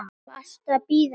Varstu að bíða eftir mér?